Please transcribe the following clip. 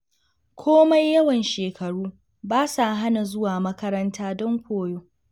Komai yawan shekaru, ba sa hana zuwa makaranta don koyo.